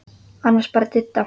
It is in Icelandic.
Annars bara Didda.